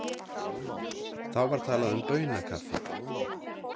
Þá var talað um baunakaffi.